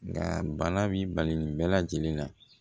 Nka bana b'i bali nin bɛɛ lajɛlen na